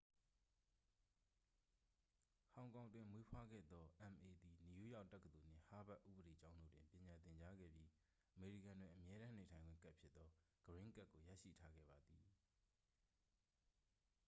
"ဟောင်ကောင်တွင်မွေးဖွားခဲ့သော အမ်အေ သည် နယူးယောက်တက္ကသိုလ်နှင့် ဟားဗက်ဥပဒေကျောင်းတို့တွင် ပညာသင်ကြားခဲ့ပြီး၊ အမေရိကန်တွင် အမြဲတမ်းနေထိုင်ခွင့်ကဒ်ဖြစ်သော "ဂရင်းကဒ်" ကို ရရှိထားခဲ့ပါသည်။